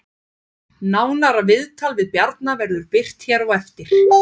Faðir hans var Bandaríkjamaður af palestínskum uppruna en móðirin af palestínskum og líbönskum uppruna.